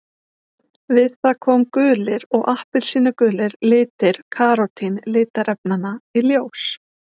Við það koma gulir og appelsínugulir litir karótín litarefnanna í ljós.